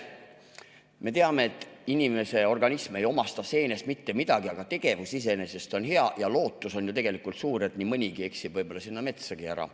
Me teame, et inimese organism ei omasta seenest mitte midagi, aga tegevus iseenesest on hea ja lootus on ju tegelikult suur, et nii mõnigi eksib sinna metsa ära.